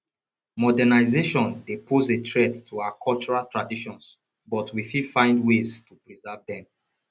modernization dey pose a threat to our cultural traditions but we fit find ways to preserve dem